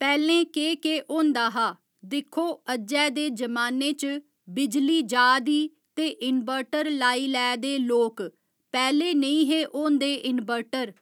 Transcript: पैहलें केह् केह् होंदा हा दिक्खो अज्जै दे जमाने च बिजली जा दी ते इनबर्टर लाई लैदे लोक पैहले नेई हे होंदे इनबर्टर